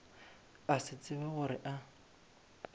a se tsebe gore a